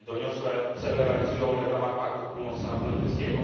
Te doniosłe cele realizują one w ramach Paktu Północnoatlantyckiego.